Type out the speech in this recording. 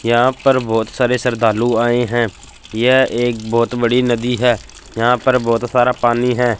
यहां पर बहोत सारे श्रद्धालु आए है यह एक बहोत बड़ी नदी है यहां पर बहोत सारा पानी है।